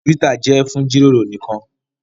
Twitter jẹ fún jíròrò nìkàn.